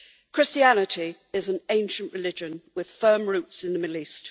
Christianity is an ancient religion with firm roots in the Middle East.